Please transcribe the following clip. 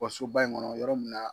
Wa soba in kɔnɔ yɔrɔ minna na.